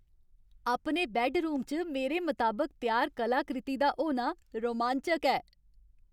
अपने बैड्डरूम च मेरे मताबक त्यार कलाकृति दा होना रोमांचक ऐ।